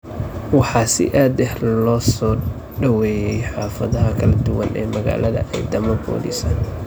Waxaa si aad ah loo soo dhoobay xaafadaha kala duwan ee magaalada ciidamo boolis ah.